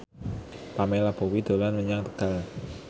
Pamela Bowie dolan menyang Tegal